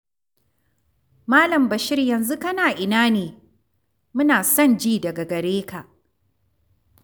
Mal. Bashir yanzu kana ina ne? Muna son ji daga gare ka.